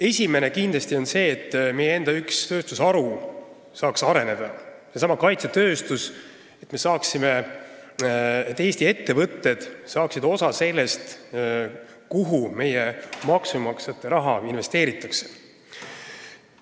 Esimene on kindlasti see, et meie enda üks tööstusharu, seesama kaitsetööstus, saaks areneda, et Eesti ettevõtted saaksid osa sellest, kuhu meie maksumaksjate raha investeeritakse.